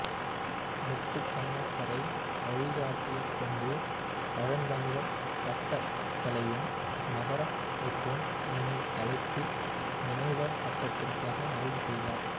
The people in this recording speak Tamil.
முத்துகண்ணப்பரை வழிகாட்டியாகக்கொண்டு பழந்தமிழர் கட்டடக் கலையும் நகரமைப்பும் என்னும் தலைப்பில் முனைவர் பட்டத்திற்காக ஆய்வு செய்தார்